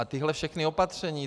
A tahle všechna opatření.